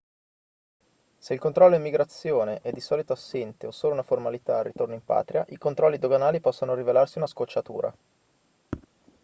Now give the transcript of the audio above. se il controllo immigrazione è di solito assente o solo una formalità al ritorno in patria i controlli doganali possono rivelarsi una scocciatura